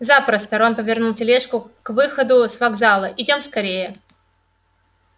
запросто рон повернул тележку к выходу с вокзала идём скорее